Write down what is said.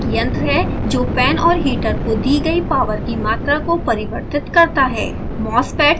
यह बस एक यंत्र है जो फैन और हीटर को दी गयी पॉवर की मात्रा को परिवर्तित करता है